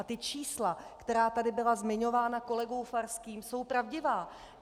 A ta čísla, která tady byla zmiňována kolegou Farským, jsou pravdivá.